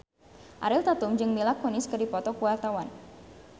Ariel Tatum jeung Mila Kunis keur dipoto ku wartawan